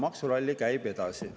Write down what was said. Maksuralli käib edasi.